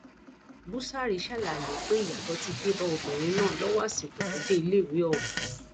búṣárì ṣàlàyé pé ìyàtọ ti dé bá obìnrin náà lọwọ àsìkò tó dé iléèwé ọhún